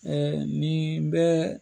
nin bɛ